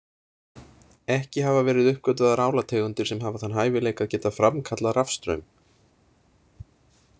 Ekki hafa verið uppgötvaðar álategundir sem hafa þann hæfileika að geta framkallað rafstraum.